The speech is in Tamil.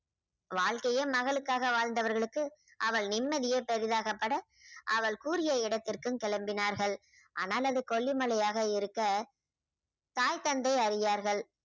வாழ்க்கையே மகளுக்காக வாழ்ந்தவர்களுக்கு அவள் நிம்மதியே பெரிதாக பட அவள் கூறிய இடத்திற்கும் கிளம்பினார்கள் ஆனால் அது கொல்லி மலையாக இருக்க தாய் தந்தை அரியார்கள்